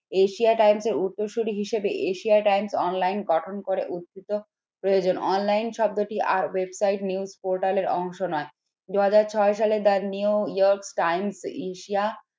Asia Times এর উত্তরসূরি হিসেবে Asia Times online গঠন করে প্রয়োজন online শব্দটি আর website news portal এর অংশ নয় দু হাজার ছয় সালে এশিয়া